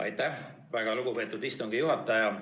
Aitäh, väga lugupeetud istungi juhataja!